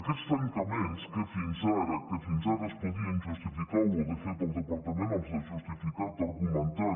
aquests tancaments que fins ara es podien justificar o de fet el departament els ha justificat argumentant